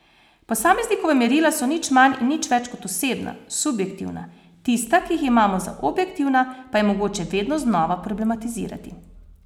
Posameznikova merila so nič manj in nič več kot osebna, subjektivna, tista, ki jih imamo za objektivna, pa je mogoče vedno znova problematizirati.